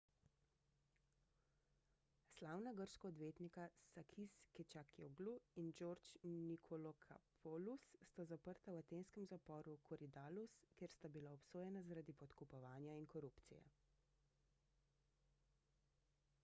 slavna grška odvetnika sakis kechagioglou in george nikolakopoulos sta zaprta v atenskem zaporu korydallus ker sta bila obsojena zaradi podkupovanja in korupcije